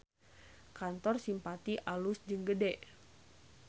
Kantor Simpati alus jeung gede